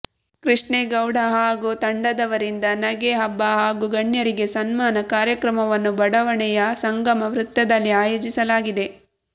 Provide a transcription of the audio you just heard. ಕೃಷ್ಣೇಗೌಡ ಹಾಗೂ ತಂಡದವರಿಂದ ನಗೆ ಹಬ್ಬ ಹಾಗೂ ಗಣ್ಯರಿಗೆ ಸನ್ಮಾನ ಕಾರ್ಯಕ್ರಮವನ್ನು ಬಡಾವಣೆಯ ಸಂಗಮ ವೃತ್ತದಲ್ಲಿ ಆಯೋಜಿಸಲಾಗಿದೆ